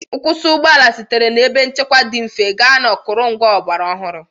Nkwụsị ụgbọ ala sitere na ebe nchekwa dị mfe gaa na akụrụngwa ọgbara ọhụrụ.